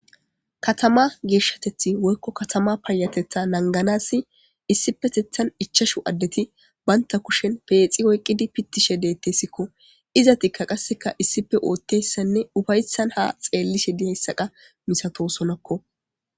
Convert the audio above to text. Kaattama geshshattethi woyyko kaatamma payyatetha nagganasi issippettethen ichchashu addeti bantta kushshen peexxa oyqqidi pittishe dettesikko iizettika qasseka issippe oottiyayssane uffaysssn ha xeeliishe diyayssa qa massatossonako.